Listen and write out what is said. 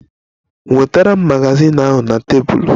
Nweta m magazin ahụ na tebụl!